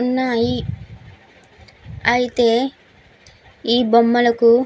ఉన్నాయి అయితే ఈ బొమ్మలకు --